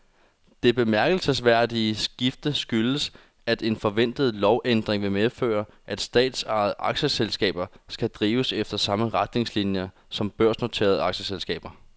Det bemærkelsesværdige skifte skyldes, at en forventet lovændring vil medføre, at statsejede aktieselskaber skal drives efter samme retningslinier som børsnoterede aktieselskaber.